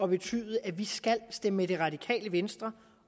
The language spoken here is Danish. betyde at vi skal stemme med det radikale venstre